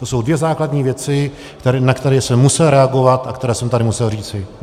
To jsou dvě základní věci, na které jsem musel reagovat a které jsem tady musel říci.